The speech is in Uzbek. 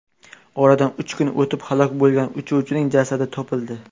Oradan uch kun o‘tib halok bo‘lgan uchuvchining jasadi topildi.